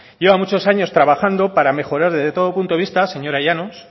lleva muchos años trabajando para mejorar desde todo punto de vista señora llanos